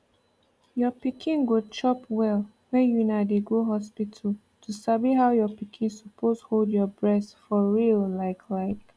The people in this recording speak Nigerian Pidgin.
your pikin go chop well when una dey go hospital to sabi how your pikin suppose hold your breast for real like like